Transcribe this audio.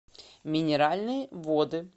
минеральные воды